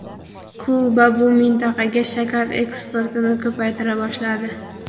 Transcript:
Kuba bu mintaqaga shakar eksportini ko‘paytira boshladi.